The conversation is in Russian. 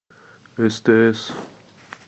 стс